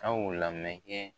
Ka o lamɛn